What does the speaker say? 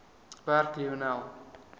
werk lionel